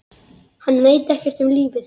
Hann veit ekkert um lífið.